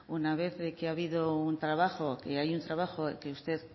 una vez de que ha habido un trabajo que hay un trabajo que usted